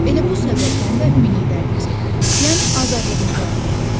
Elə bu səbəbdən də biliklərimizi, yəni azadlığımızı artırırıq.